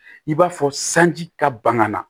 I b'a fɔ sanji ka ban ka na